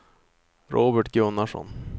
Robert Gunnarsson